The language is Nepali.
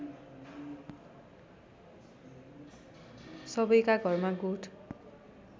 सबैका घरमा गोठ